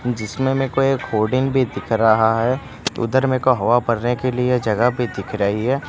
जिसमें मेरे को एक होर्डिंग भी दिख रहा है उधर में एक हवा भरने के लिए जगह भी दिख रही है।